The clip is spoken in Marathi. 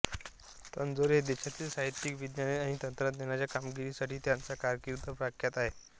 तंजोर देशातील साहित्यिक वैज्ञानिक आणि तंत्रज्ञानाच्या कामगिरीसाठी त्यांचा कारकीर्द प्रख्यात आहे